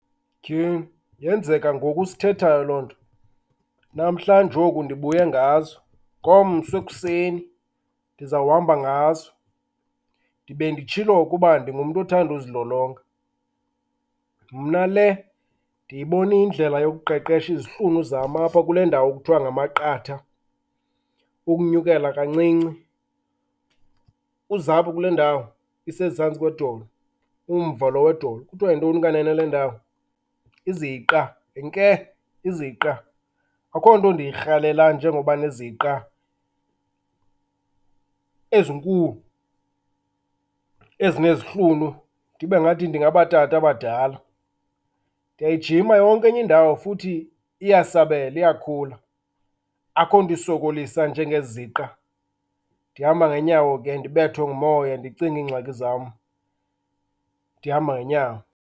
Tyhini, yenzeka ngoku sithethayo loo nto. Namhlanje oku ndibuye ngazo, ngomso ekuseni ndizawuhamba ngazo. Ndibe nditshilo ke uba ndingumntu othanda uzilolonga. Mna le ndiyibona iyindlela yokuqeqesha izihlunu zam apha kule ndawo kuthiwa ngamaqatha, ukunyukela kancinci uzapha kule ndawo isezantsi kwedolo, umva lo wedolo. Kuthiwa yintoni kanene le ndawo? Iziqa. Heke, iziqa! Akukho nto ndiyirhalela njengoba neziqa ezinkulu, ezinezihlunu, ndibe ngathi ndingabatata badala. Ndiyayijima yonke enye indawo futhi iyasabela, iyakhula. Akukho nto isokolisa njengeziqa. Ndihamba ngeenyawo ke, ndibethwe ngumoya ndicinge iingxaki zam ndihamba ngeenyawo.